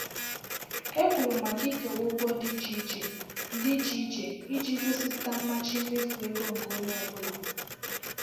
Ha kwuru maka ikewa ụgwọ dị iche iche dị iche iche iji gosipụta mmachi mmefu ego nke onye ọ bụla.